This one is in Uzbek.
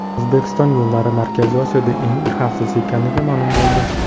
O‘zbekiston yo‘llari Markaziy Osiyoda eng xavfsiz ekanligi ma’lum bo‘ldi.